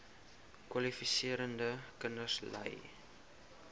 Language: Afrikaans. kwalifiserende kinders ly